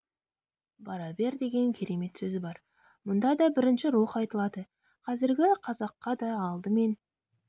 бара бер деген керемет сөзі бар мұнда да бірінші рух айтылады қазіргі қазаққа да алдымен